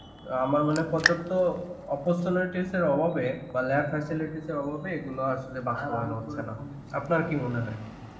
আমার মনে হয় পর্যাপ্ত opportunities অভাবে বা lab facilities অভাবে এগুলো আসলে করানো হচ্ছে না. আপনার কি মনে হয়?